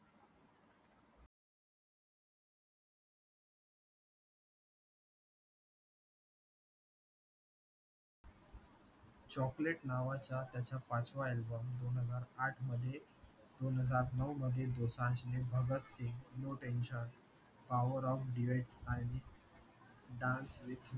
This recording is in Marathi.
chocolate नावाचा त्याचा पाचव्या album दोन हजार आठ मध्ये दोन हजार नऊ मध्ये दोसांझने Bhagat Singh, no tension power of Duets आणि dance with